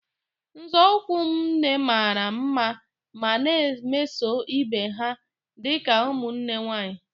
Nzọụkwụ m nne mara mma ma na-emeso ibe ha dị ka ụmụnne nwanyị